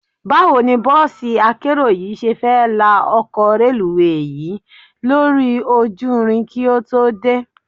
Báwo ni bọ́ọ̀sí akérò yìí ṣe fẹ́ la ọkọ̀ reluwé yìí lórí ojú irin kí ó tó dé?